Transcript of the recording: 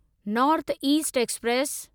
north east express